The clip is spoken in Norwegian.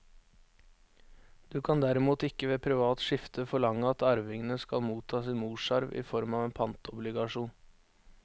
Du kan derimot ikke ved privat skifte forlange at arvingene skal motta sin morsarv i form av en pantobligasjon.